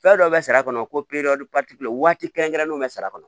Fɛn dɔ bɛ sara kɔnɔ ko waati kɛrɛnkɛrɛnnenw bɛ sara kɔnɔ